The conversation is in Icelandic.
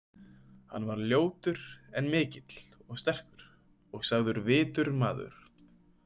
Hann var ljótur en mikill og sterkur og sagður vitur maður.